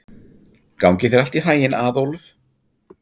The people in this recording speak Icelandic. Gangi þér allt í haginn, Aðólf.